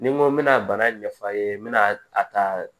Ni n ko n bɛna bana ɲɛf'a ye n bɛna a ta